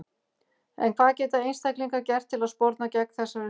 En hvað geta einstaklingar gert til að sporna gegn þessari þróun?